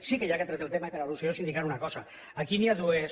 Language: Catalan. sí que ja que ha tret el tema i per al·lusió indicar una cosa aquí hi ha dues